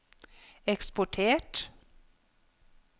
eksportert